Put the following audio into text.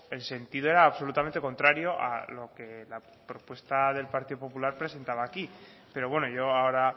el sentido era absolutamente contrario a lo que la propuesta del partido popular presentaba aquí pero bueno yo ahora